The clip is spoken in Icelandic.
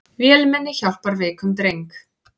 Vélmenni hjálpar veikum dreng